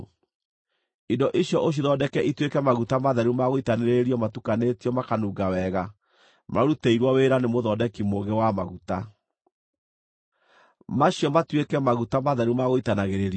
Indo ici ũcithondeke ituĩke maguta matheru ma gũitanĩrĩrio matukanĩtio makanunga wega marutĩirwo wĩra nĩ mũthondeki mũũgĩ wa maguta. Macio matuĩke maguta matheru ma gũitanagĩrĩrio.